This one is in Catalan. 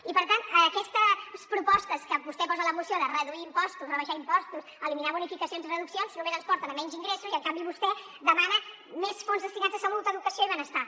i per tant aquestes propostes que vostè posa a la moció de reduir impostos rebaixar impostos eliminar bonificacions i reduccions només ens porten a menys ingressos i en canvi vostè demana més fons destinats a salut educació i benestar